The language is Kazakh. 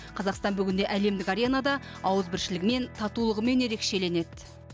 қазақстан бүгінде әлемдік аренада ауызбіршілігімен татулығымен ерекшеленеді